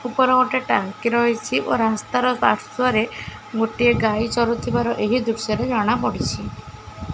ଉପରେ ଗୋଟେ ଟାଙ୍କି ରହିଚି ଓ ରାସ୍ତା ର ପାର୍ଶ୍ଵରେ ଗୋଟେ ଗାଈ ଚରୁଥିବାର ଏହି ଦୃଶ୍ୟ ରେ ଜଣା ପଡ଼ିଛି।